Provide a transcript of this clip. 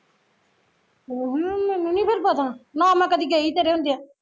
ਅਹ ਮੈਂਨੂੰ ਨੀ ਫਿਰ ਪਤਾ ਨਾ ਮੈਂ ਕਦੀ ਗਈ ਤੇਰੇ ਹੁੰਦਿਆ